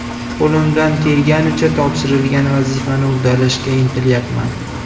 Qo‘limdan kelganicha topshirilgan vazifani uddalashga intilyapman.